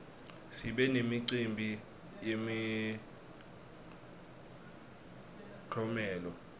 sibe nemicimbi yemiklomelo